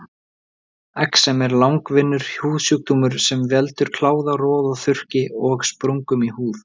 Exem er langvinnur húðsjúkdómur sem veldur kláða, roða, þurrki og sprungum í húð.